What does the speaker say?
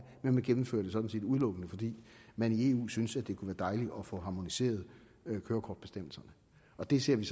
man gennemfører det sådan set udelukkende fordi man i eu synes at det kunne være dejligt at få harmoniseret kørekortbestemmelserne det ser vi